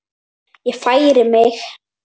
Ég færi mig.